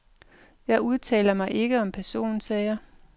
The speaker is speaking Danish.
Jeg udtaler mig ikke om personsager.